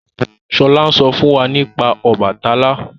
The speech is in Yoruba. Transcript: Shola n sọ fún wá nípa Obàtálá